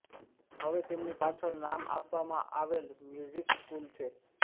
હવે તેમની પાછળ નામ આપવામાં આવેલ મ્યુઝિક સ્કૂલ છે